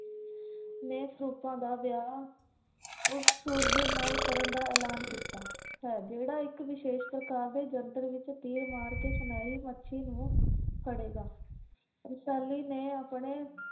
ਨੇ ਸਰੂਪਾ ਦਾ ਵਿਆਹ ਉਸ ਸੂਰਵੀਰ ਨਾਲ ਕਰਨ ਦਾ ਐਲਾਨ ਕੀਤਾ ਹੈ। ਜਿਹੜਾ ਇਕ ਵਿਸ਼ੇਸ਼ ਪ੍ਰਕਾਰ ਦੇ ਯੰਤਰ ਵਿੱਚ ਤੀਰ ਮਾਰ ਕੇ ਸੁਨਹਿਰੀ ਮੱਛੀ ਨੂੰ ਫਡੇਗਾ। ਰਸਾਲੀ ਨੇ ਆਪਣੇ